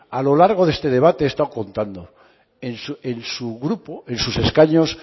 a lo largo de este debate lo he estado contando en su grupo en sus escaños